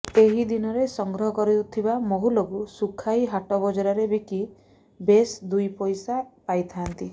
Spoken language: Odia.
ଏହି ଦିନରେ ସଂଗ୍ରହ କରିଥିବା ମହୁଲକୁ ଶୁଖାଇ ହାଟ ବଜାରରେ ବିକି ବେଶ୍ଦୁଇ ପଇସା ପାଇଥାନ୍ତି